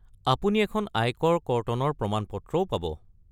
আপুনি এখন আয়কৰ কৰ্তনৰ প্ৰমাণপত্ৰও পাব।